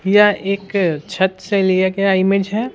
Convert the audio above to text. यह एक छत से लिया गया इमेज है।